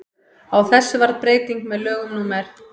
á þessu varð breyting með lögum númer